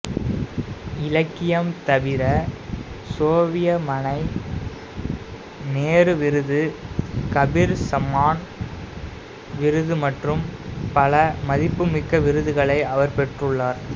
இலக்கியம் தவிர சோவியத் மனை நேரு விருது கபீர் சம்மான் விருது மற்றும் பல மதிப்புமிக்க விருதுகளை அவர் பெற்றுள்ளார்